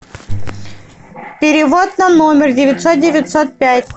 перевод на номер девятьсот девятьсот пять